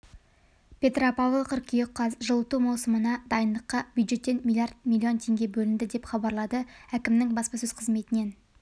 петропавл қыркүйек қаз жылыту маусымына дайындыққа бюджеттен миллиард миллион теңге бөлінді деп хабарлады әкімінің баспасөз қызметінен